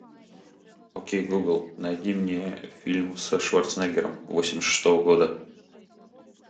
окей гугл найди мне фильм со шварценеггером восемьдесят шестого года